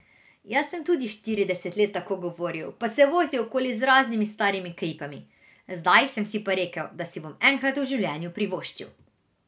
Jaz sem tudi štirideset let tako govoril, pa se vozil okoli z raznimi starimi kripami, zdaj sem si pa rekel, da si bom enkrat v življenju privoščil!